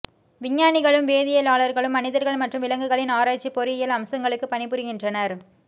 விஞ்ஞானிகளும் வேதியியலாளர்களும் மனிதர்கள் மற்றும் விலங்குகளின் ஆராய்ச்சி பொறியியல் அம்சங்களுக்கு பணிபுரிகின்றனர்